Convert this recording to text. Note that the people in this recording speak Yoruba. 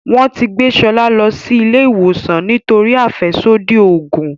Wón tí gbé Shola ló sì ilé ìwòsàn nítorí afẹsodi oògùn.